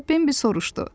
Deyə Bembi soruşdu.